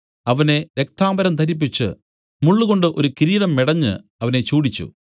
അവനെ രക്താംബരം ധരിപ്പിച്ച് മുള്ളുകൊണ്ട് ഒരു കിരീടം മെടഞ്ഞു അവനെ ചൂടിച്ചു